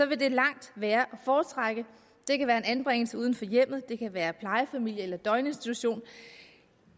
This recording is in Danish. vil det langt være at foretrække det kan være en anbringelse uden for hjemmet det kan være plejefamilie eller døgninstitution